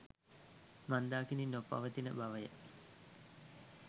මන්දාකිණි නො පවතින බව ය.